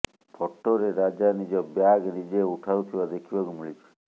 ଫଟୋରେ ରାଜା ନିଜ ବ୍ୟାଗ୍ ନିଜେ ଉଠାଉଥିବା ଦେଖିବାକୁ ମିଳିଛି